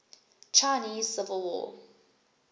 chinese civil war